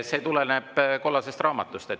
See tuleneb kollasest raamatust.